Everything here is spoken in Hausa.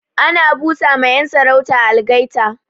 Ana bu sa ma 'yan sarauta algaita